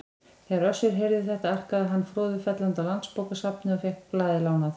Þegar Össur heyrði þetta arkaði hann froðufellandi á Landsbókasafnið og fékk blaðið lánað.